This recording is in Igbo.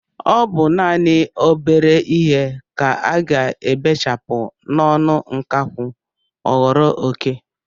Ọ bụ naanị obere ihe ka a ga-ebechapụ n'ọnụ nkakwụ ọ ghọrọ oké.